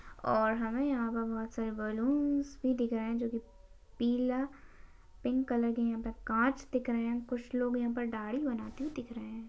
और हमे यहा पर बहुत सारे बलून्स भी दिख रहे जो की पीला पिंक कलर के यहा पर काँच दिख रहे कुछ लोग यहा पर दाढ़ी बनाते दिख रहे।